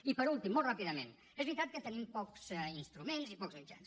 i per últim molt ràpidament és veritat que tenim pocs instruments i pocs mitjans